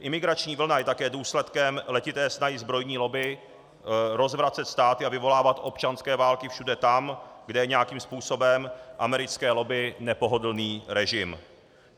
Imigrační vlna je také důsledkem letité snahy zbrojní lobby rozvracet státy a vyvolávat občanské války všude tam, kde je nějakým způsobem americké lobby nepohodlný režim.